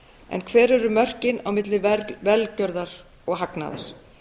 en hver eru mörkin á milli velgjörðar og hagnaðar